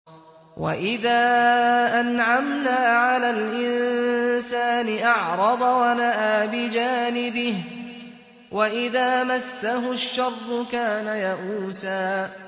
وَإِذَا أَنْعَمْنَا عَلَى الْإِنسَانِ أَعْرَضَ وَنَأَىٰ بِجَانِبِهِ ۖ وَإِذَا مَسَّهُ الشَّرُّ كَانَ يَئُوسًا